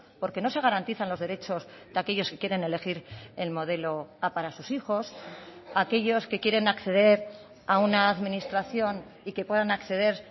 porque no se garantizan los derechos de aquellos que quieren elegir el modelo a para sus hijos aquellos que quieren acceder a una administración y que puedan acceder